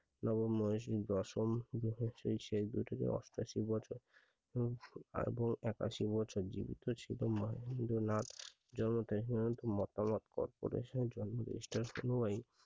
নবম দশম শেষ দুই থেকে অষ্টআশি বছর এবং একাশি বছর জীবিত ছিল মাইন্দ্রনাথ জনমতে মতামত প্রকাশ করেছেন I সে সময়